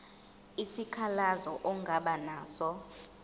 isikhalazo ongaba naso